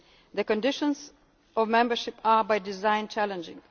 membership. The conditions of membership are, by design,